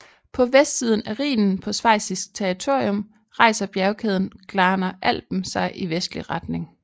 På vestsiden af Rhinen på schweizisk territorium rejser bjergkæden Glarner Alpen sig i vestlig retning